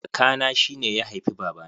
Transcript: Kaka na shine ya haifi baba na